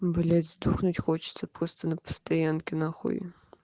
блять сдохнуть хочется просто на постоянке на хуй